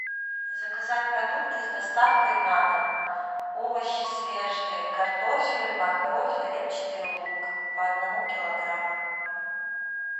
заказать продукты с доставкой на дом овощи свежие картофель морковь репчатый лук по одному килограмму